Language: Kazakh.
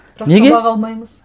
неге сабақ алмаймыз